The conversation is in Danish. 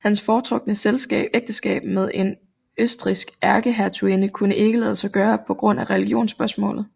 Hans foretrukne ægteskab med en østrigsk ærkehertuginde kunne ikke lade sig gøre på grund af religionsspørgsmålet